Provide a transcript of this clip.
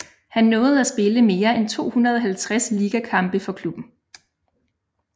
Han nåede at spille mere end 250 ligakampe for klubben